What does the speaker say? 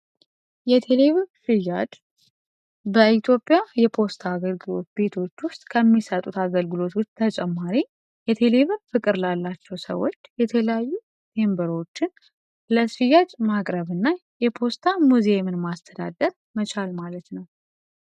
የቴሌ ብርር ፔግ አድድ በኢትዮጵያ የፖስታ አገልግሎት ቤቶች ውስጥ ከሚሰጡት አገልግሎቶች ተጨማሪ የቴሌቭዝን ፍቅርላላቸው ሰዎች የተለያዩ ማቅረብ እና የፖስታ ሙዚየም ማስተዳደር መቻል ማለት ነው።